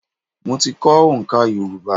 Mo ti kọ́ oǹká Yorùbá.